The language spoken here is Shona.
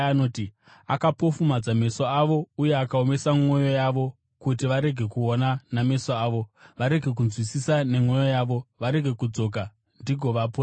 “Akapofumadza meso avo uye akaomesa mwoyo yavo, kuti varege kuona nameso avo, varege kunzwisisa nemwoyo yavo, varege kudzoka ndigovaporesa.”